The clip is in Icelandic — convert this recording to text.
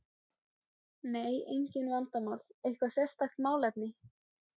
Nei, engin vandamál Eitthvað sérstakt málefni?